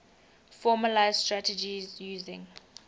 formalised strategies using